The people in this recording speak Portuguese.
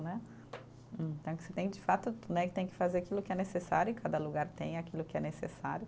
Né, então, que você tem, de fato né, que tem que fazer aquilo que é necessário, e cada lugar tem aquilo que é necessário.